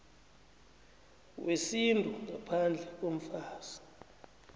wesintu ngaphandle komfazi